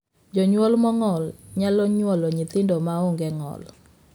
Jonyuol mong'ol nyalo nyuolo nyithindo ma onge ng'ol.